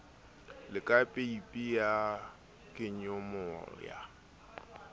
le ka peipi ya kenyomoya